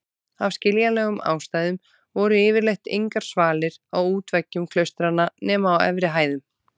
Af skiljanlegum ástæðum voru yfirleitt engar svalir á útveggjum klaustranna nema á efri hæðum.